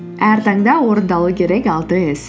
әр таңда орындалу керек алты іс